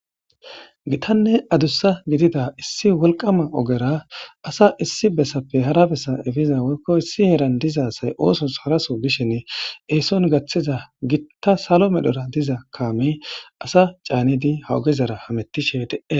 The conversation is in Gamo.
Gitanne wolqama gidida ogera asa issi bessappe hara jera epiza woyko ISS son diza asay oosos haraso bishi eeson gathiza giita salo medhora diza kamey asa canidi ha ogezara hamutishe de'es